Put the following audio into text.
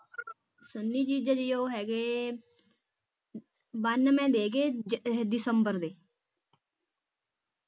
ਸਂਨੀ ਜੀਜਾ ਜੀ ਉਹ ਹੈਗੇ ਬਾਨਵੇ ਦੇ ਹੈਗੇ ਇਹ ਦਸੰਬਰ ਦੇ